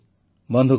ବନ୍ଧୁଗଣ